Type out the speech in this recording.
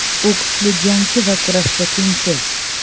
U kuchli jangchi va kurashda tengsiz.